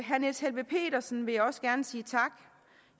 herre niels helveg petersen vil jeg også gerne sige tak